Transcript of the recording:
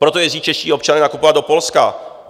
Proto jezdí čeští občané nakupovat do Polska.